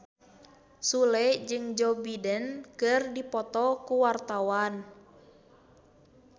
Sule jeung Joe Biden keur dipoto ku wartawan